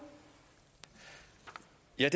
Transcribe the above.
jeg